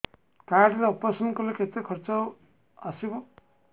card ରେ operation କଲେ କେତେ ଖର୍ଚ ଆସିବ